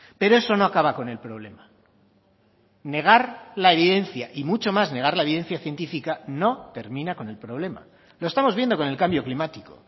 pero eso no acaba con el problema negar la evidencia y mucho más negar la evidencia científica no termina con el problema lo estamos viendo con el cambio climático